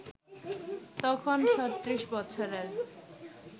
তখন ৩৬ বৎসরের